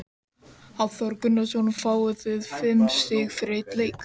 Hafþór Gunnarsson: Fáið þið fimm stig fyrir einn leik?